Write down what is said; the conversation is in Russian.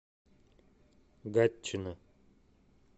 гатчина